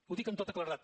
ho dic amb tota claredat